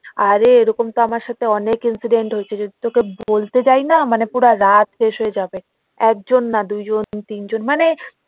আরে এরকম তো আমার সাথে অনেক incident হয়েছে যদি তোকে বলতে যাই না মানে পুরা রাত শেষে হয়ে যাবে একজন না দুইজন তিন জন মানে